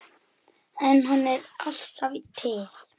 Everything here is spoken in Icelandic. En hann er alltaf til.